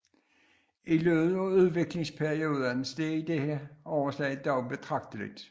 I løbet af udviklingsperioden steg dette overslag dog betragteligt